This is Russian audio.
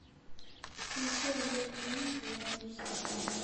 включи олег винник я не устану